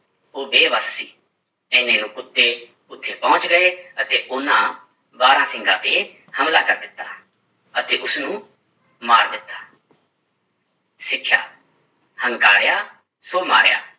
ਉਹ ਬੇਬਸ ਸੀ, ਇੰਨੇ ਨੂੰ ਕੁੱਤੇ ਉੱਥੇ ਪਹੁੰਚ ਗਏ ਅਤੇ ਉਹਨਾਂ ਬਾਰਾਂਸਿੰਗਾ ਤੇ ਹਮਲਾ ਕਰ ਦਿੱਤਾ ਅਤੇ ਉਸਨੂੰ ਮਾਰ ਦਿੱਤਾ ਸਿੱਖਿਆ ਹੰਕਾਰਿਆ ਸੋ ਮਾਰਿਆ